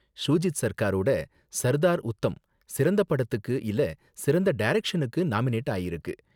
ஷூஜித் சர்க்காரோட சர்தார் உத்தம் சிறந்த படத்துக்கு இல்ல சிறந்த டைரக்ஷனுக்கு நாமினேட் ஆயிருக்கு.